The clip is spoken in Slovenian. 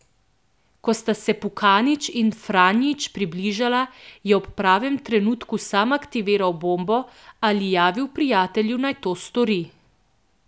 Ko sta se Pukanić in Franjić približala, je ob pravem trenutku sam aktiviral bombo ali javil prijatelju, naj to stori.